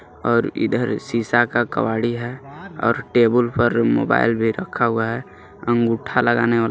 और इधर शीशा का कबाड़ी है और टेबल पर मोबाईल भी रखा हुआ है अंगूठा लगाने वाला--